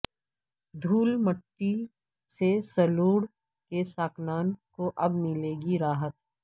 دھول مٹی سے سلوڑ کے ساکنان کواب ملے گی راحت